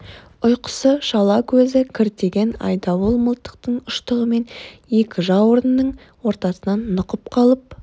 ұйқысы шала көзі кіртиген айдауыл мылтықтың ұштығымен екі жауырынның ортасынан нұқып қалып